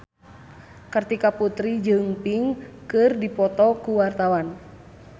Kartika Putri jeung Pink keur dipoto ku wartawan